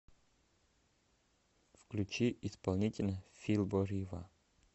включи исполнителя фил бо рива